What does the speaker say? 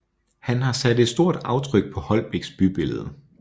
Han har sat et stort aftryk på Holbæks bybillede